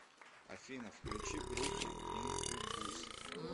афина включи группу инкубус